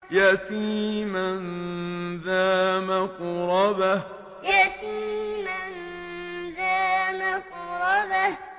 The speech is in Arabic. يَتِيمًا ذَا مَقْرَبَةٍ يَتِيمًا ذَا مَقْرَبَةٍ